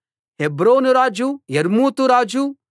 హెబ్రోను రాజు యర్మూతు రాజు